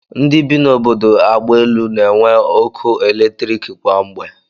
Ndị bi n'obodo agbaelu na-enwe ọkụ eletrik kwa mgbe